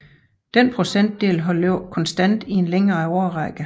Denne procentdel har ligget konstant i en længere årrække